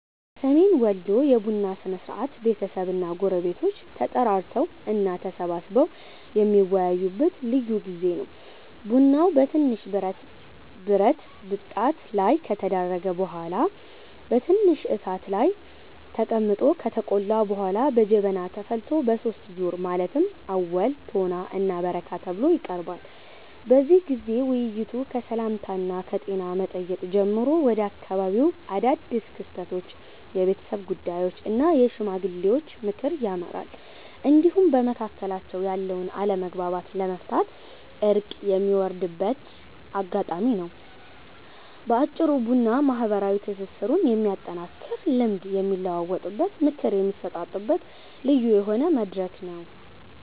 በሰሜን ወሎ የቡና ሥርዓት ቤተሰብና ጎረቤቶች ተጠራርተው እና ተሰባስበው የሚወያዩበት ልዩ ጊዜ ነው። ቡናው በትንሽ ብረት ብጣት ላይ ከተደረገ በኋላ በትንሽ እሳት ላይ ተቀምጦ ከተቆላ በኋላ በጀበና ተፈልቶ በሦስት ዙር ማለትም አወል፣ ቶና እና በረካ ተብሎ ይቀርባል። በዚህ ጊዜ ውይይቱ ከሰላምታና ከጤና መጠየቅ ጀምሮ ወደ አካባቢው አዳድስ ክስተቶች፣ የቤተሰብ ጉዳዮች እና የሽማግሌዎች ምክር ያመራል፤ እንዲሁም በመካከላቸው ያለውን አለመግባባት ለመፍታት እርቅ የሚወርድበት አጋጣሚም ነው። በአጭሩ ቡና ማህበራዊ ትስስሩን የሚያጠናክርና ልምድ የሚለዋወጥበት፣ ምክር የሚሰጣጥበት ልዩ የሆነ መድረክ ነው።